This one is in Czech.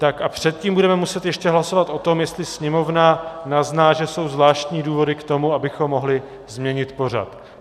Tak a předtím budeme muset ještě hlasovat o tom, jestli sněmovna uzná, že jsou zvláštní důvody k tomu, abychom mohli změnit pořad.